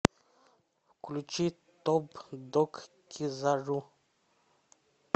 включи топ дог кизару